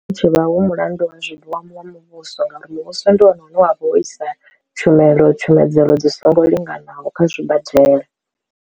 Tshivha hu mulandu wa zwino wa mu wa muvhuso ngauri muvhuso ndi wone une wa vha wo isa tshumelo tshumedzelo dzi songo linganaho kha zwibadela.